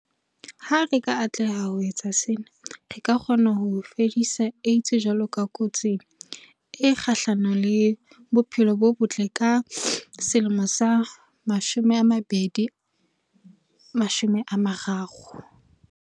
Ha re ka atleha ho etsa sena, re ka kgona ho fedisa AIDS jwalo ka kotsi e kgahlano le bophelo bo botle ka 2030.